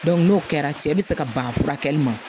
n'o kɛra cɛ bɛ se ka ban furakɛli ma